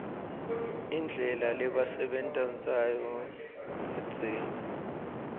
indlela lebabesenta nsayo kadzeni